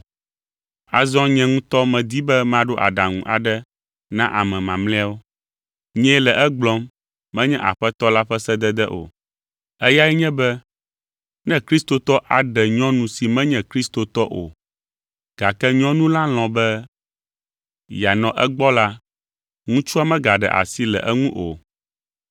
Azɔ nye ŋutɔ medi be maɖo aɖaŋu aɖe na ame mamlɛawo. (Nyee le egblɔm, menye Aƒetɔ la ƒe sedede o). Eyae nye be ne kristotɔ aɖe nyɔnu si menye kristotɔ o, gake nyɔnu la lɔ̃ be yeanɔ egbɔ la, ŋutsua megaɖe asi le eŋu o.